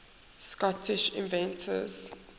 scottish inventors